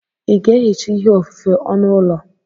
Ị ga-ehicha ihe ofufe onu ụlọ?